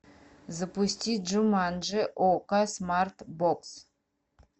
запусти джуманджи окко смарт бокс